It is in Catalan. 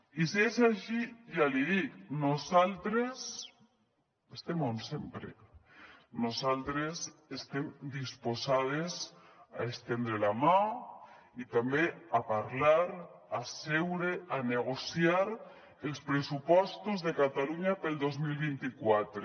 i si és així ja l’hi dic nosaltres estem on sempre nosaltres estem disposades a estendre la mà i també a parlar a seure a negociar els pressupostos de catalunya per al dos mil vint quatre